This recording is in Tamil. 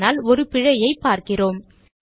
ஆனால் ஒரு பிழையைப் பார்க்கிறோம்